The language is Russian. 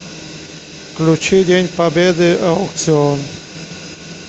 включи день победы аукцыон